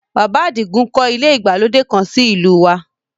Bàbá Àdìgún kọ́ ilé ìgbàlódé kan sí ìlú u wa